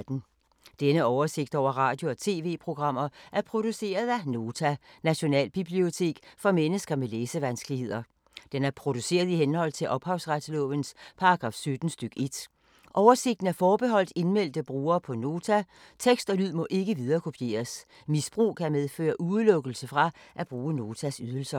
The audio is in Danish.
Denne oversigt over radio og TV-programmer er produceret af Nota, Nationalbibliotek for mennesker med læsevanskeligheder. Den er produceret i henhold til ophavsretslovens paragraf 17 stk. 1. Oversigten er forbeholdt indmeldte brugere på Nota. Tekst og lyd må ikke viderekopieres. Misbrug kan medføre udelukkelse fra at bruge Notas ydelser.